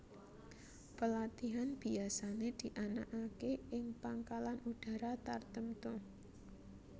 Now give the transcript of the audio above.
Pelatihan biasane dianakake ing Pangkalan Udara tartemtu